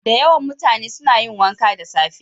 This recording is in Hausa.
Da yawan mutane suna yin wanka da safe.